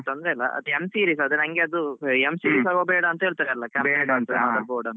ತೊಂದ್ರೆ ಇಲ್ಲ m series ಎಲ್ಲ ಬೇಡ ಅಂತ ಹೇಳ್ತಾರೆ.